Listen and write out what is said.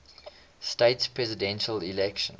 states presidential election